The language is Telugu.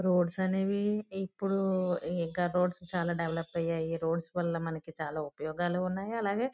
రోడ్స్ అనేవి ఇప్పుడు ఇంకా రోడ్స్ దేవోలోప్ అయ్యాయి. రోడ్స్ వాళ్ళ మనకి చాల ఉపయోగాలున్నాయి.